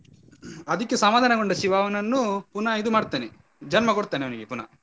ಅದಕ್ಕೆ ಸಮಾಧಾನಗೊಂಡ ಶಿವ ಅವನನ್ನು ಪುನಃ ಇದು ಮಾಡ್ತಾನೆ ಜನ್ಮ ಕೊಡ್ತಾನೆ ಅವನಿಗೆ ಪುನಃ.